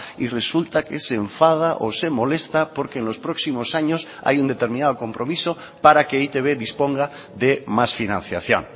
y resulta que se enfada o se molesta porque en los próximos años hay un determinado compromiso para que e i te be disponga de más financiación